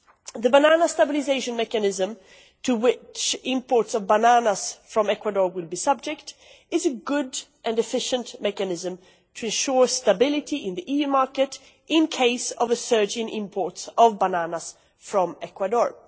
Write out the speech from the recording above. The banana stabilisation mechanism, to which imports of bananas from Ecuador will be subject, is a good and efficient mechanism to ensure stability in the EU market in case of a surge in imports of bananas from Ecuador.